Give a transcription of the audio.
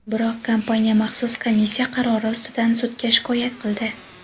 Biroq kompaniya maxsus komissiya qarori ustidan sudga shikoyat qildi.